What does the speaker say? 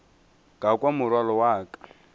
ka kwa morwalo wa ka